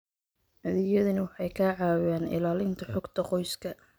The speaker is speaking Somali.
Adeegyadani waxay ka caawiyaan ilaalinta xogta qoyska.